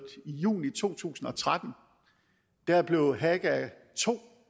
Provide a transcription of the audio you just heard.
i juni to tusind og tretten blev haga ii